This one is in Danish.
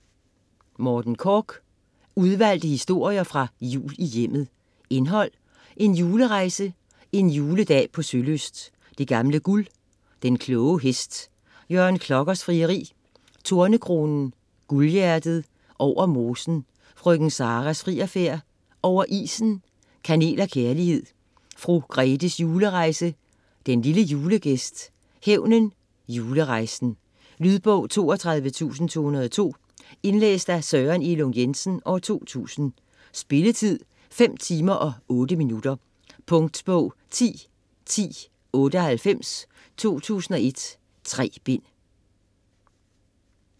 Korch, Morten: Udvalgte historier fra Jul i Hjemmet Indhold: En julerejse; En juledag på Sølyst; Det gamle guld; Den kloge hest; Jørgen Klokkers frieri; Tornekronen; Guldhjertet; Over mosen; Frøken Saras frierfærd; Over isen; Kanel og kærlighed; Fru Grethes julerejse; Den lille julegæst; Hævnen; Julerejsen. Lydbog 32202 Indlæst af Søren Elung Jensen, 2000. Spilletid: 5 timer, 8 minutter. Punktbog 101098 2001. 3 bind.